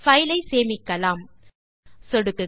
file ஐ சேமிக்கலாம் சொடுக்குக